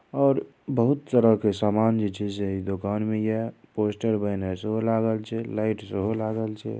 --और बहुत तरह के सामान जीचे से दुकान में यह पोस्टर बने सो लागल छे लाइट जो हो लागल छे।